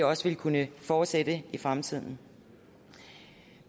også ville kunne fortsætte i fremtiden